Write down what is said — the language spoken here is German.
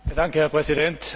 Herr Präsident!